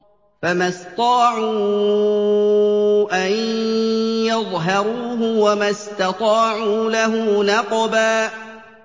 فَمَا اسْطَاعُوا أَن يَظْهَرُوهُ وَمَا اسْتَطَاعُوا لَهُ نَقْبًا